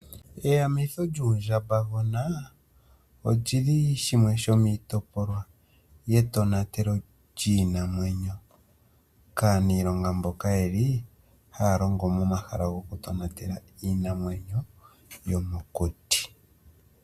Eyamitho lyuundjamba gona lyili shimwe shomiitopolwa yetonatelo lyiinamwenyo kaniilonga mboka yeli haya longo momahala goku tonatela iinamwenyo yomokuti.